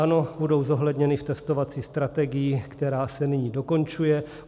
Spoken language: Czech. Ano, budou zohledněny v testovací strategii, která se nyní dokončuje.